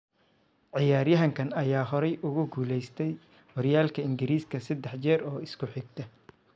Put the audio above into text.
Ciyaaryahanka ayaa horay ugu guuleystay horyaalka Ingiriiska seddex jeer oo isku xigta.